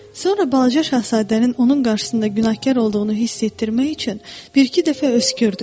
Sonra balaca şahzadənin onun qarşısında günahkar olduğunu hiss etdirmək üçün bir-iki dəfə öskürdü.